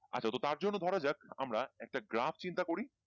আচ্ছা তার জন্য তো ধরা যাক আমরা একটা গ্রাফ চিন্তা করি